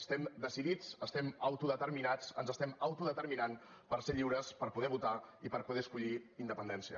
estem decidits estem autodeterminats ens estem autodeterminant per ser lliures per poder votar i per poder escollir independència